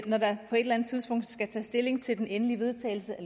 når der på et eller andet tidspunkt skal tages stilling til den endelige vedtagelse af